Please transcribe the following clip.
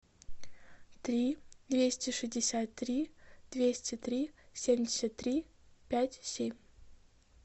три двести шестьдесят три двести три семьдесят три пять семь